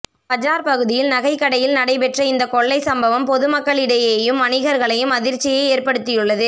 பஜார் பகுதியில் நகைக்கடையில் நடைபெற்ற இந்த கொள்ளை சம்பவம் பொதுமக்களிடையேயும் வணிகர்களையும் அதிர்ச்சியை ஏற்படுத்தியுள்ளது